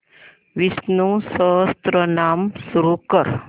विष्णु सहस्त्रनाम सुरू कर